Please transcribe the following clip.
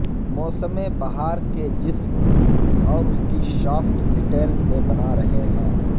موسم بہار کے جسم اور اس کی شافٹ سٹیل سے بنا رہے ہیں